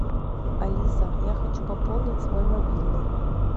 алиса я хочу пополнить свой мобильный